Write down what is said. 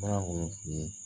Fura minnu tun ye